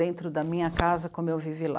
Dentro da minha casa, como eu vivi lá.